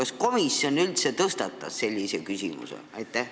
Kas komisjon üldse tõstatas sellise küsimuse?